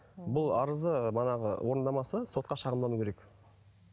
бұл арызды манағы орындамаса сотқа шағымдану керек